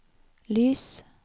lys